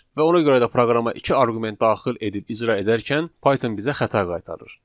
Və ona görə də proqrama iki arqument daxil edib icra edərkən Python bizə xəta qaytarır.